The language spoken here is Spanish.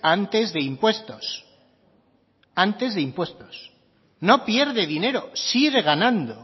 antes de impuestos antes de impuestos no pierde dinero sigue ganando